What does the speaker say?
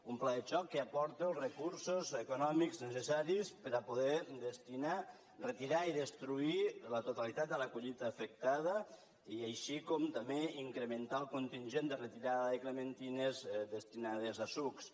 un pla de xoc que aporti els recursos econòmics necessaris per a poder retirar i destruir la totalitat de la collita afectada així com també incrementar el contingent de retirada de clementines destinades a sucs